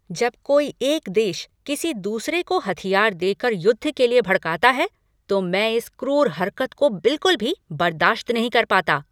जब कोई एक देश किसी दूसरे को हथियार देकर युद्ध के लिए भड़काता है तो मैं इस क्रूर हरकत को बिलकुल भी बर्दाश्त नहीं कर पाता।